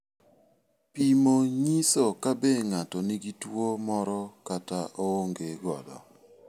Pimo nyiso kabe ng'ato nigi tuwo moro kata oonge godo.